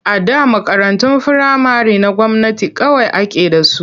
A da makarantun firamare na gwamnati kawai ake da su.